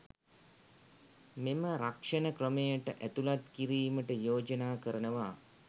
මෙම රක්ෂණ ක්‍රමයට ඇතුළත් කිරීමට යෝජනා කරනවා